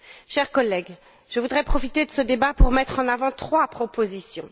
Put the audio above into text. Chers collègues, je voudrais profiter de ce débat pour mettre en avant trois propositions.